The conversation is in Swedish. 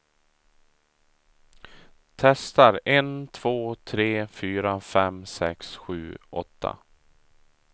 Testar en två tre fyra fem sex sju åtta.